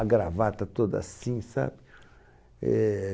A gravata toda assim, sabe? Éh...